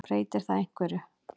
Breytir það einhverju?